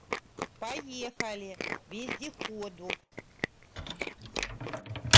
поехали вездеходов